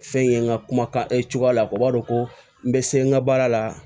Fɛn ye n ka kumakan cogoyaw ye o b'a dɔn ko n bɛ se n ka baara la